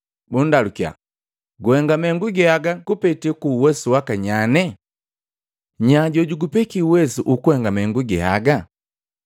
bundalukya, “Guhenga mahengu ge aga kupete kuuwesu waka nyane? Nya jojugupeki uwesu ukuhenga mahengu ge aga?”